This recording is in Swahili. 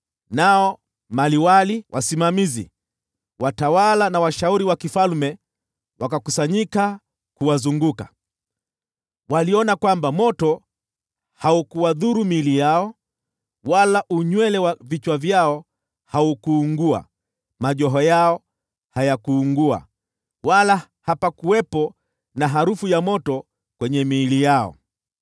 Nao maliwali, wasimamizi, watawala na washauri wa mfalme wakakusanyika kuwazunguka. Waliona kwamba moto haukudhuru miili yao, wala unywele wa vichwa vyao haukuungua, majoho yao hayakuungua, wala hapakuwepo na harufu ya moto kwenye miili yao.